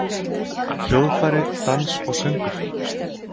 Hljóðfæri, dans og söngur?